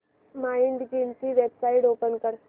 Mindgym ची website open कर